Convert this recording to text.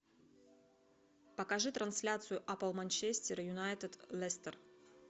покажи трансляцию апл манчестер юнайтед лестер